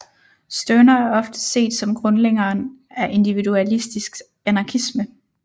Stirner er ofte set som grundlæggeren af individualistisk anarkisme